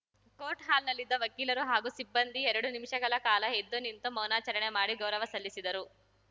court ಹಾಲ್‌ನಲ್ಲಿದ್ದ ವಕೀಲರು ಹಾಗೂ ಸಿಬ್ಬಂದಿ ಎರಡು ನಿಮಿಷಗಳ ಕಾಲ ಎದ್ದು ನಿಂತು ಮೌನಾಚರಣೆ ಮಾಡಿ ಗೌರವ ಸಲ್ಲಿಸಿದರು